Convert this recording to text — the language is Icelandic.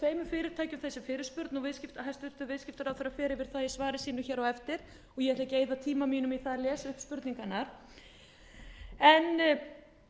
fyrirtækjum þessi fyrirspurn og hæstvirtur viðskiptaráðherra fer yfir það í svari sínu á eftir og ég ætla ekki að eyða tíma mínum í það að lesa upp spurningarnar en